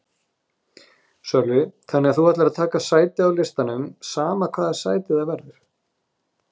Sölvi: Þannig að þú ætlar að taka sæti á listanum sama hvaða sæti það verður?